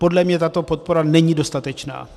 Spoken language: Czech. Podle mě tato podpora není dostatečná.